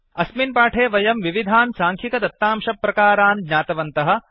अस्मिन् पाठे वयं विविधान् साङ्ख्यिकदत्तांशप्रकारान् ज्ञातवन्तः